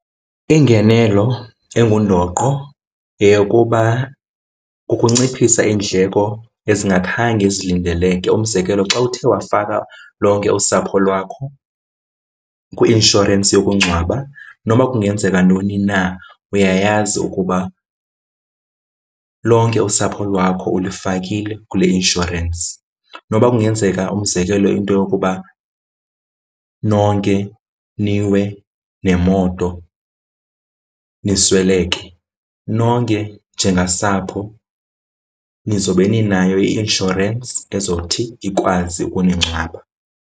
Ingenelo engundoqo yeyokuba kukunciphisa iindleko ezingakhange zilindeleke. Umzekelo xa uthe wafaka lonke usapho lwakho kwi-inshorensi yokungcwaba noma kungenzeka ntoni na, uyayazi ukuba lonke usapho lwakho ulifakile kule inshorensi. Noba kungenzeka, umzekelo into yokuba nonke niwe nemoto, nisweleke, nonke njengasapho nizobe ninayo i-inshorensi ezothi ikwazi ukuningcwaba.